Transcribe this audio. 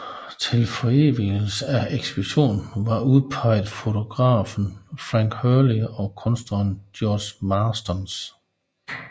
Til forevigelsen af ekspeditionen var udpeget fotografen Frank Hurley og kunstneren George Marston